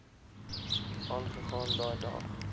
aangegaan daai dag